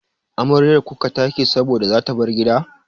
Amaryar kuka take saboda zata bar gida.